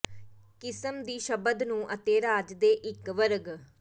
ਕਿਸਮ ਦੀ ਸ਼ਬਦ ਨੂੰ ਅਤੇ ਰਾਜ ਦੇ ਇੱਕ ਵਰਗ